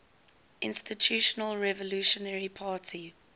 institutional revolutionary party